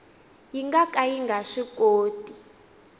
nga ka yi nga swikoti